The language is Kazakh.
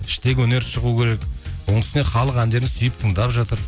іштегі өнер шығу керек оның үстіне халық әндерін сүйіп тыңдап жатыр